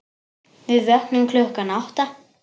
Við vöknum klukkan átta.